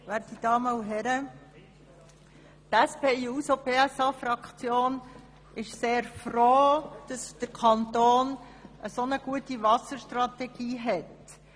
Die SP-JUSO-PSAFraktion ist sehr froh, dass der Kanton eine so gute Wasserstrategie hat.